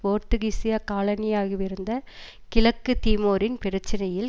போத்துகீசருடைய காலனியாகவிருந்த கிழக்கு தீமோரின் பிரச்சனையில்